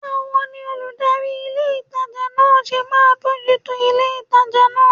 Báwo ni olùdarí ilé ìtajà náà ṣe máa bójú tó ilé ìtajà náà?